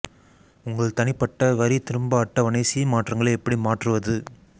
உங்கள் தனிப்பட்ட வரி திரும்ப அட்டவணை சி மாற்றங்களை எப்படி மாற்றுவது